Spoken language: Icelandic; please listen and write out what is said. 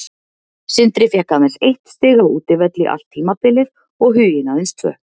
Sindri fékk aðeins eitt stig á útivelli allt tímabilið og Huginn aðeins tvö.